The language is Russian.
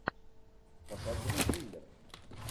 показывай триллер